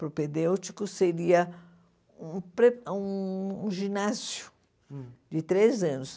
Propedêutico seria um pre hum um ginásio de três anos.